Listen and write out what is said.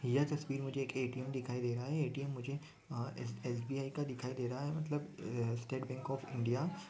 यह तसवीर मुझे एक एटीएम दिखाई दे रहा है और एसबीआई का मतलब स्टेट बैंक ऑफ इंडिया --